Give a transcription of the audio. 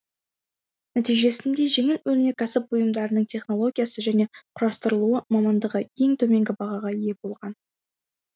нәтижесінде жеңіл өнеркәсіп бұйымдарының технологиясы және құрастырылуы мамандығы ең төменгі бағаға ие болған